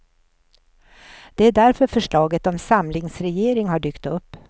Det är därför förslaget om samlingsregering har dykt upp.